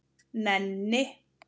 Nenni